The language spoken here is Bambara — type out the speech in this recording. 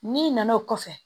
N'i nana o kɔfɛ